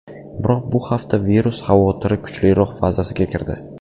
Biroq bu hafta virus xavotiri kuchliroq fazasiga kirdi .